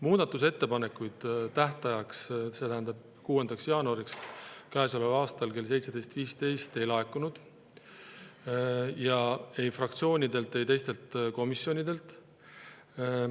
Muudatusettepanekuid tähtajaks, see tähendab käesoleva aasta 6. jaanuariks kella 17.15‑ks, ei laekunud ei fraktsioonidelt, ei teistelt komisjonidelt.